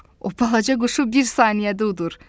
O balaca quşu bir saniyədə udur.